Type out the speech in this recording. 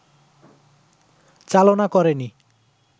চালনা করেনি